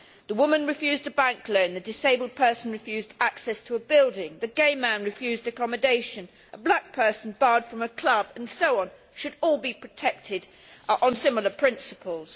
The woman refused a bank loan, the disabled person refused access to a building, the gay man refused accommodation, a black person barred from a club, and so on, should all be protected on the basis of similar principles.